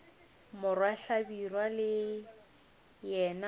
morwa hlabirwa le yena o